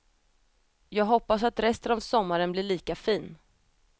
Jag hoppas att resten av sommaren blir lika fin.